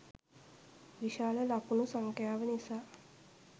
විශාල ලකුණු සංඛ්‍යාව නිසා